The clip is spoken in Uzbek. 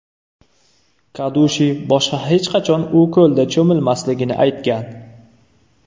Kadushi boshqa hech qachon u ko‘lda cho‘milmasligini aytgan.